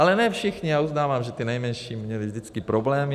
Ale ne všichni, já uznávám, že ty nejmenší měly vždycky problémy.